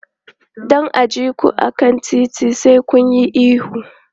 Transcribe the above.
Don a ji ku a kan titi, sai kun yi ihu.